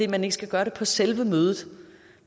man ikke skal gøre det på selve mødet